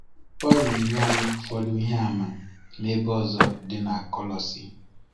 Pọl na-enye anyị ụfọdụ ihe àmà n’ebe ọzọ dị na Kolosi.